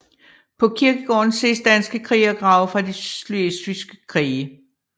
På kirkegården ses danske krigergrave fra de slesvigske krige